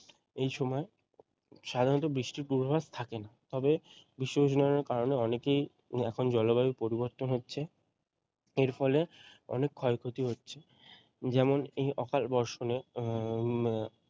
এই সময় সাধারণত বৃষ্টির পূর্বাভাস থাকে না তবে বিশ্ব উষ্ণায়ন এর কারণে অনেকই এখন জলবায়ুর পরিবর্তন হচ্ছে এর ফলে অনেক ক্ষয়ক্ষতি হচ্ছে যেমন এই অকালবর্ষণে উম